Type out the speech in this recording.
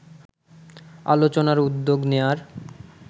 আলোচনার উদ্যোগ নেয়ার